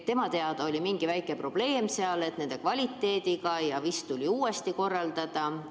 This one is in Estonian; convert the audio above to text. Tema teada oli mingi väike probleem nende kvaliteediga ja vist tuli asi uuesti korraldada.